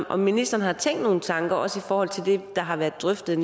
om ministeren har tænkt nogle tanker også i forhold til det der har været drøftet